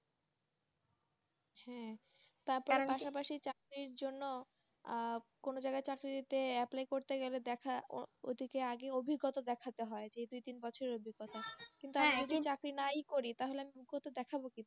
হুম। টার পাশাপাশি চাকরির জন্য আহ কোনও জায়গায় চাকরি নিতে apply করতে গেলে দেখা ও~ ওটিকে আগে অভিজ্ঞতা দেখাতে হয়, দুই, তিন বছরের অভিজ্ঞতা। যদি চাকরি নাই করি তাহলে অভিজ্ঞতা দেখাবো কিভাবে।